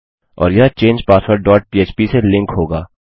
और यह change password dot पह्प से लिंक होगा